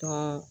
Tɔ